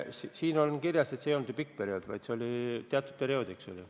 Siin on kirjas, et see ei olnud pikaks perioodiks, vaid üksnes teatud ajaks.